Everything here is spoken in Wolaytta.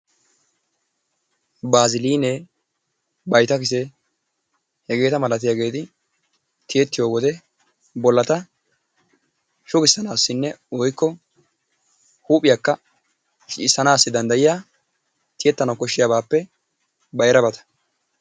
Baazilinee, bayttakisee hegeta malatiyaageeti tiyyetiyo wode bollata shuggisanassinne woykko huuphiyakka shiccissanassi danddayiya tiyyetana koshshiyabaappe bayrabata.